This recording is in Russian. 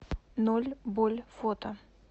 ноль боль фото